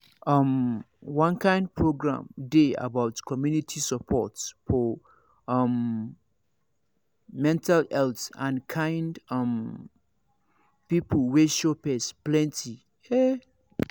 um one kind program dey about community support for um mental health and kind um people wey show face plenty ehh